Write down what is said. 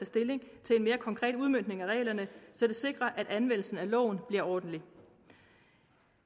stilling til en mere konkret udmøntning af reglerne så det sikres at anvendelsen af loven bliver ordentlig